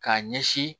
K'a ɲɛsin